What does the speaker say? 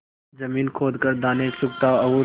जमीन खोद कर दाने चुगता और